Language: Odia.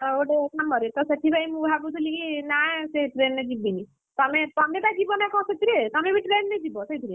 ତ ଗୋଟେ କାମରେ ତ ସେଥିପାଇଁ ମୁଁ ଭାବୁଥିଲି କି ନାସେ train ରେ ଯିବିନି, ତମେ ବା ଯିବନା କଣ ସେଥିରେ ତମେ ବି train ରେ ଯିବ ସେଇଥିରେ?